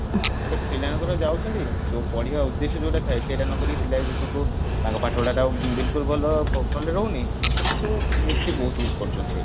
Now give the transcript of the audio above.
ତ ପିଲାମାନେ ଯାଉଛନ୍ତି ଯଉ ପଢିବା ଉଦେଶ୍ୟ ଯଉଟା ଥାଏ ସେଇଟା ନକରିକି ପିଲା ଏଇନେ ସବୁ ତାଙ୍କ ପଥପଢାଟା ବିଲକୁଲ ଭଲ କଲେ ରହୁନି ଏ ସେସବୁ ମିସିକି ବହୁତ କରୁଛନ୍ତି ସେଇଠି